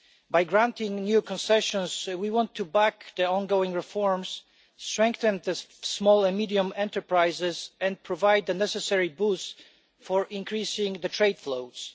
By granting new concessions, we want to back the ongoing reforms, strengthen small and medium enterprises and provide the necessary boost for increasing trade flows.